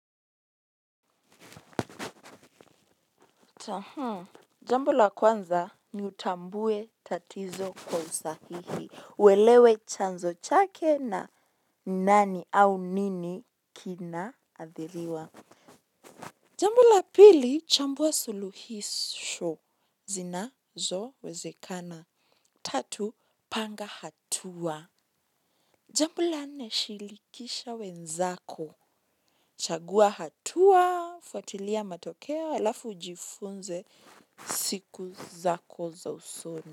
Jambo la kwanza ni utambue tatizo kwa usahihi. Uelewe chanzo chake na nani au nini kina athiriwa. Jambo la pili chambue suluhisho. Zinazo wezekana. Tatu panga hatua jambo la nne shirikisha wenzako. Chagua hatua, fuatilia matokeo, alafu ujifunze siku zako za usoni.